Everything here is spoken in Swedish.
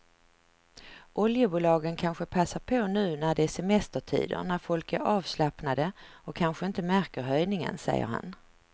Oljebolagen kanske passar på nu när det är semestertider när folk är avslappnade och kanske inte märker höjningen, säger han.